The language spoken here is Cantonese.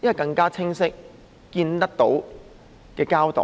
一個更清晰及看得見的交代？